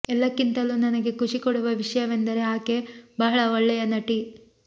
ಎಲ್ಲಕ್ಕಿಂತಲೂ ನನಗೆ ಖುಷಿ ಕೊಡುವ ವಿಷಯವೆಂದರೆ ಆಕೆ ಬಹಳ ಒಳ್ಳೆಯ ನಟಿ